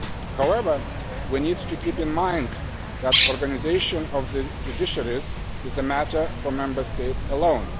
However, we need to keep in mind that organisation of the judiciaries is a matter for Member States alone.